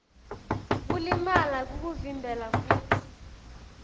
kulimala kukuvimbela kutsi